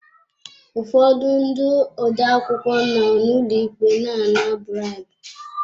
Ụfọdụ ndị odeakwụkwọ nọ n'ụlọ ikpe na ana bribu.